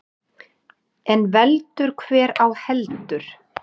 En veldur hver á heldur.